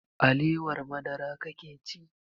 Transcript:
Alewar madara kake ci?